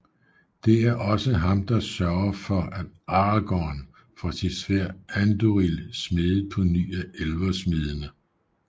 Det er også ham der sørger for at Aragorn får sit sværd Andúril smedet på ny af elversmedende